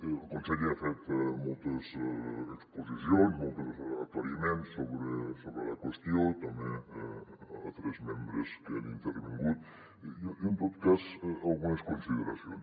el conseller ha fet moltes exposicions molts aclariments sobre la qüestió també altres membres que han intervingut jo en tot cas algunes consideracions